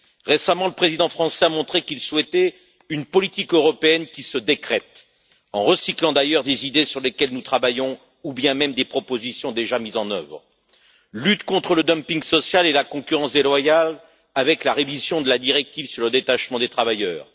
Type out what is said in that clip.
Récemment, le président français a montré qu'il souhaitait une politique européenne qui se décrète, en recyclant d'ailleurs des idées sur lesquelles nous travaillons ou même des propositions déjà mises en œuvre lutte contre le dumping social et la concurrence déloyale avec la révision de la directive sur le détachement des travailleurs